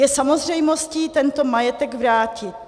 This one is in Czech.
... je samozřejmostí tento majetek vrátit.